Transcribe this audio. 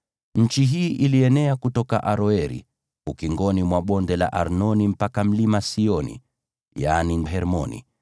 Nchi hii ilienea kutoka Aroeri ukingoni mwa Bonde la Arnoni mpaka Mlima Sioni (yaani Hermoni),